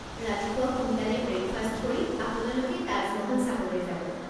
ৰাতিপুৱা সোনকালে ব্ৰেকফাষ্ট কৰি আপোনালোকে তাজ মহল চাবলৈ যাব।